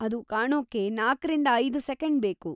ಅದು ಕಾಣೋಕ್ಕೆ ನಾಲ್ಕ ರಿಂದ ಐದು ಸೆಕೆಂಡ್‌ ಬೇಕು.